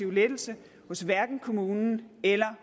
lettelse hos kommunen eller